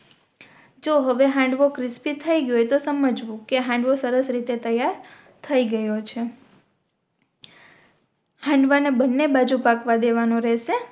જો હવે હાંડવો ક્રિસ્પિ થઈ ગયો હોય તો સમજવું કે હાંડવો સરસ રીતે તૈયાર થઈ ગયો છે હાંડવા ને બનને બાજુ પાકવા દેવાનો રેહશે